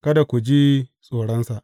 Kada ku ji tsoronsa.